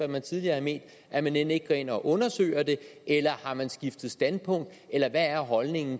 man tidligere har ment at man end ikke går ind og undersøger det eller har man skiftet standpunkt eller hvad er holdningen